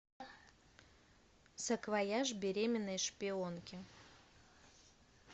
саквояж беременной шпионки